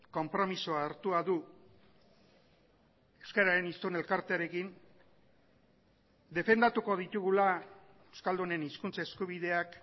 konpromisoa hartua du euskararen hiztun elkartearekin defendatuko ditugula euskaldunen hizkuntza eskubideak